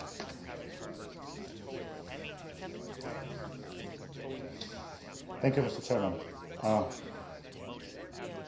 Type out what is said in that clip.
Respect for human rights and fundamental values and adherence to democratic standards are at the heart of the European Neighbourhood Policy.